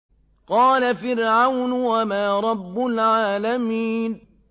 قَالَ فِرْعَوْنُ وَمَا رَبُّ الْعَالَمِينَ